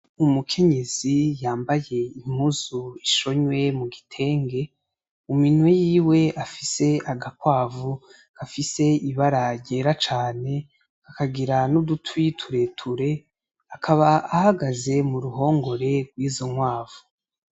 Umukenyezi yambaye impuzu ishonwe mu gitenge, mu minwe yiwe afise agakwavu gafise ibara ryera cane kakagira n'udutwi tureture, akaba ahagaze mu ruhongore rwizo nkwavu.